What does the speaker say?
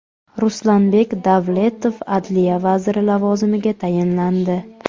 Ruslanbek Davletov adliya vaziri lavozimiga tayinlandi.